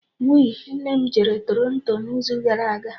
We, nne m jere Toronto n'izu gara aga